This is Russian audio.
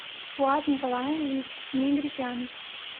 фуад николаевич мегрикян